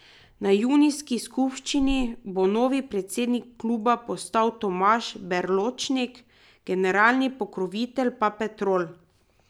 Na junijski skupščini bo novi predsednik kluba postal Tomaž Berločnik, generalni pokrovitelj pa Petrol.